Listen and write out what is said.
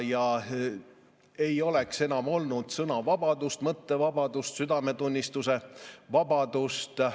Siis ei oleks enam olnud sõnavabadust, mõttevabadust, südametunnistuse vabadust.